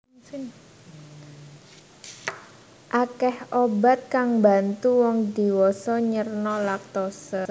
Akèh obat kang mbantu wong dhiwasa nyerna laktose